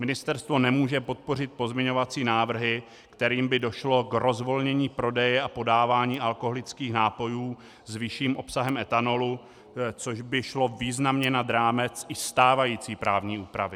Ministerstvo nemůže podpořit pozměňovací návrhy, kterými by došlo k rozvolnění prodeje a podávání alkoholických nápojů s vyšším obsahem etanolu, což by šlo významně nad rámec i stávající právní úpravy.